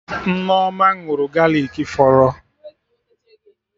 Nneoma ṅụrụ galik fọrọ